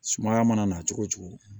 Sumaya mana na cogo cogo